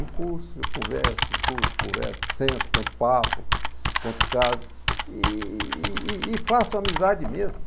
Em curso, eu converso, discuto, converso, sento, conto papo, conto caso e e e faço amizade mesmo.